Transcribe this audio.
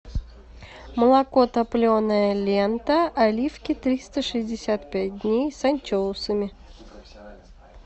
молоко топленое лента оливки триста шестьдесят пять дней с анчоусами